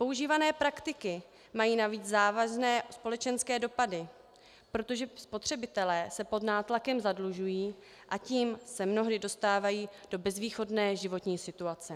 Používané praktiky mají navíc závazné společenské dopady, protože spotřebitelé se pod nátlakem zadlužují, a tím se mnohdy dostávají do bezvýchodné životní situace.